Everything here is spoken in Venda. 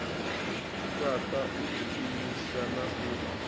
fhaṱa u ḓiimisa na u